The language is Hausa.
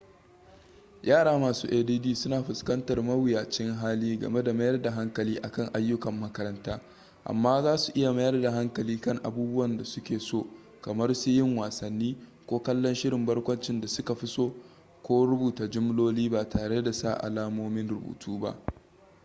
yara masu add suna fuskantar mawuyacin hali game da mayar da hankali akan ayyukan makaranta amma zasu iya mayar da hankali kan abubuwan da suke so kamar su yiun wassani ko kallon shirin barkwancin da suka fi so ko rubuta jimloli ba tare da sa alamomin rubutu ba